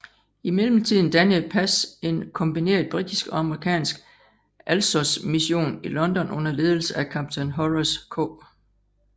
I mellemtiden dannede Pash en kombineret britisk og amerikansk Alsosmission i London under ledelse af kaptajn Horace K